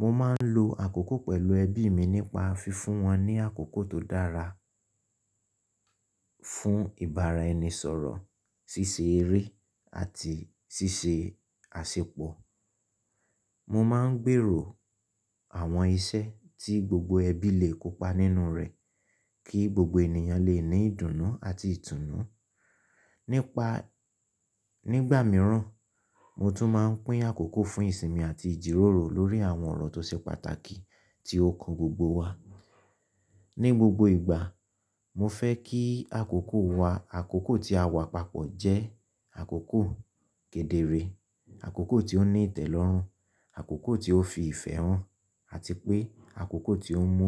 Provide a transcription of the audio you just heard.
Mo máa ń lo àkókò pẹ̀lú ẹbí mi nípa fífún wọn ní àkókò tó dára fún ìbáraẹnisọ̀rọ̀, ṣíṣe eré àti ṣíṣe àsèpọ̀. Mo máa ń gbèrò àwọn iṣẹ́ tí gbogbo ẹbí lè kópa nínú rẹ̀ kí gbogbo ènìyàn lè ní ìdùnnú àti ìtùnnú, nipa Nígbà mìíràn, mo tún máa ń pín àkókò fún ìsinmi àti ìjíròrò lórí àwọn ọ̀rọ̀ tó ṣe pàtàkì tí ó kan gbogbo wa. Ní gbogbo ìgbà, mo fẹ́ kí àkókò wa, àkókò tí a wà papọ̀ jẹ́ àkókò kedere, àkókò tí ó ní ìtẹ́lọ́rùn, àkókò tí ó fi ìfẹ́ hàn, àti pé àkókò tí ó mú